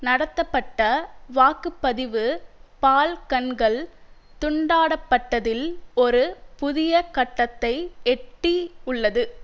நடத்தப்பட்ட வாக்கு பதிவு பால்கன்கள் துண்டாடப்பட்டதில் ஒரு புதிய கட்டத்தை எட்டி உள்ளது